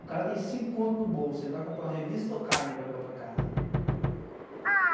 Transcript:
O cara tem cinco contos no bolso, ele vai comprar uma revista ou carne para levar para casa?